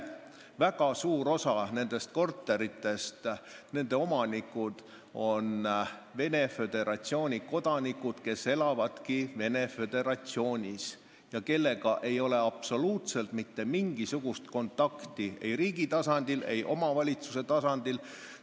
Väga suures osas on nende korterite omanikud Venemaa Föderatsiooni kodanikud, kes elavadki Venemaa Föderatsioonis, ja nendega ei ole absoluutselt mitte mingisugust kontakti ei riigi ega omavalitsuse tasandil.